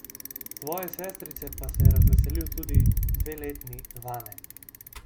Svoje sestrice pa se je razveselil tudi dveletni Vane.